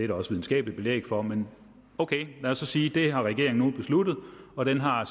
der også videnskabeligt belæg for men ok lad os så sige at det har regeringen nu besluttet og den har